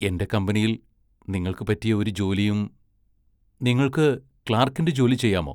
എന്റെ കമ്പനിയിൽ നിങ്ങൾക്ക് പറ്റിയ ഒരു ജോലിയും നിങ്ങൾക്ക് ക്ലാർക്കിന്റെ ജോലി ചെയ്യാമോ?